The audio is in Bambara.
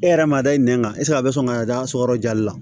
E yɛrɛ m'a da i nɛn kan eseke a bɛ sɔn ka da so yɔrɔ jali la